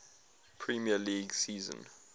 premier league season